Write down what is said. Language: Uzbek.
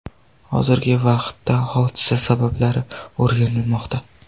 Hozirgi vaqtda hodisa sabablari o‘rganilmoqda.